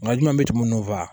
Nka ɲuman bɛ tɛmɛ minnu fɛ